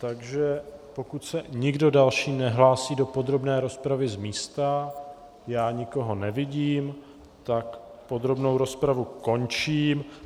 Takže pokud se nikdo další nehlásí do podrobné rozpravy z místa, já nikoho nevidím, tak podrobnou rozpravu končím.